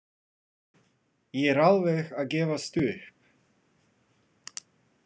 Ég er alveg að gefast upp.